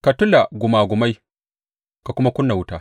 Ka tula gumagumai ka kuma ƙuna wuta.